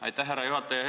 Aitäh, härra juhataja!